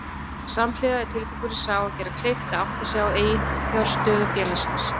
Samhliða er tilgangurinn sá að gera kleift að átta sig á eiginfjárstöðu félagsins.